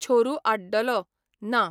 छोरू आड्डलो, ना.